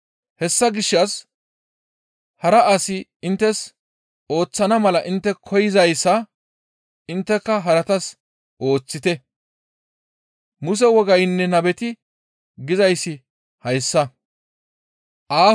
Hessa gishshas hara asi inttes ooththana mala intte koyzayssa, intteka haratas ooththite. Muse wogaynne nabeti gizayssi hayssa.